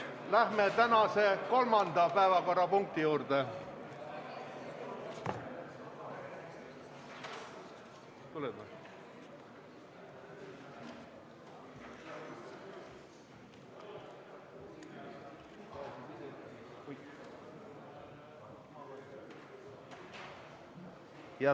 Läheme järgmise päevakorrapunkti juurde.